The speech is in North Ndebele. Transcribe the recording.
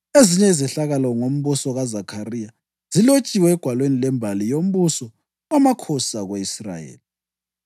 Ezinye izehlakalo ngombuso kaZakhariya zilotshwe egwalweni lwembali yombuso wamakhosi ako-Israyeli.